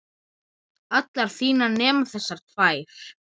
allar þínar nema þessar tvær.